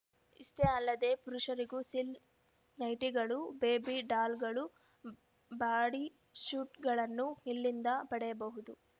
ಇಷ್ಟೇ ಅಲ್ಲದೆ ಪುರುಷರಿಗೂ ಸಿಲ್ಕ್ ನೈಟಿಗಳು ಬೇಬಿ ಡಾಲ್‌ಗಳು ಬಾಡಿ ಸ್ಯೂಟ್‌ಗಳನ್ನೂ ಇಲ್ಲಿಂದ ಪಡೆಯಬಹುದು